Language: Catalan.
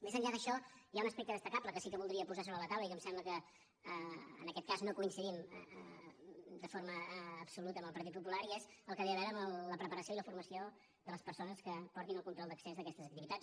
més enllà d’això hi ha un aspecte destacable que sí que voldria posar sobre la taula i que em sembla que en aquest cas no coincidim de forma absoluta amb el partit popular i és el que té a veure amb la preparació i la formació de les persones que portin el control d’accés d’aquestes activitats